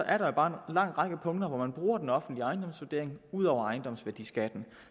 er der bare en lang række punkter hvor man bruger den offentlige ejendomsvurdering ud over ejendomsværdiskatten